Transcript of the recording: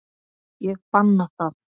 Ég banna það.